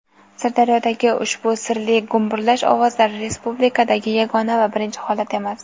Sirdaryodagi ushbu sirli gumburlash ovozlari Respublikadagi yagona va birinchi holat emas.